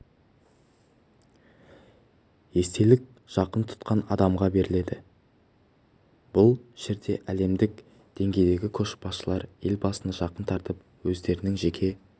естелік жақын тұтқан адамға беріледі ғой бұл жерде әлемдік деңгейдегі көшбасшылар елбасыны жақын тартып өздерінің жеке